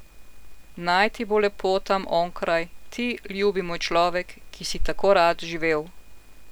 Naj ti bo lepo tam onkraj, ti, ljubi moj človek, ki si tako rad živel.